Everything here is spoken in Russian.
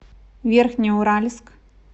верхнеуральск